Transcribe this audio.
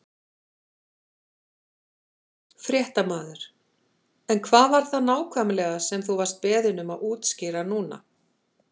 Fréttamaður: En hvað var það nákvæmlega sem þú vart beðinn um að útskýra núna?